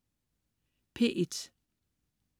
P1: